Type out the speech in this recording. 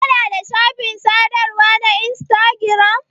Kana da shafin sadarwa na instagiram?